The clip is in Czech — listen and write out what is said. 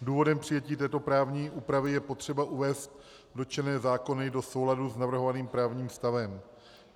Důvodem přijetí této právní úpravy je potřeba uvést dotčené zákony do souladu s navrhovaným právním stavem.